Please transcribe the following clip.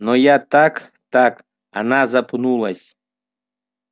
но я так так она запнулась